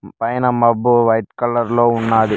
పైన మబ్బు white colour లో ఉన్నది.